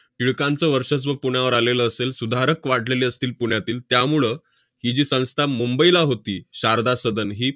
टिळकांचं वर्चस्व पुण्यावर आलेलं असेल, सुधारक वाढलेले असतील पुण्यातील, त्यामुळं ही जी संस्था मुंबईला होती शारदा सदन ही